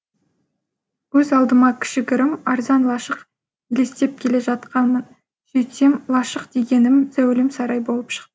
көз алдыма кішігірім арзан лашық елестеп келе жатқанмын сөйтсем лашық дегенім зәулім сарай болып шықты